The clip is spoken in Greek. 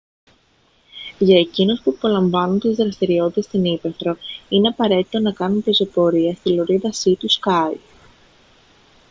για εκείνους που απολαμβάνουν τις δραστηριότητες στην ύπαιθρο είναι απαραίτητο να κάνουν πεζοπορία στη λωρίδα σι του σκάι